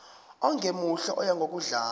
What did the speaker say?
ongemuhle oya ngokudlanga